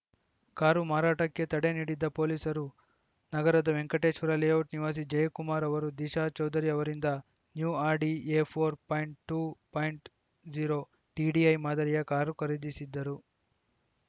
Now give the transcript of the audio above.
car ಮಾರಾಟಕ್ಕೆ ತಡೆ ನೀಡಿದ್ದ ಪೊಲೀಸರು ನಗರದ ವೆಂಕಟೇಶ್ವರ ಲೇಔಟ್‌ ನಿವಾಸಿ ಜಯಕುಮಾರ್‌ ಅವರು ದಿಶಾ ಚೌಧರಿ ಅವರಿಂದ new Audi A four point two point zero TDI ಮಾದರಿಯ ಕಾರು ಖರೀದಿಸಿದ್ದರು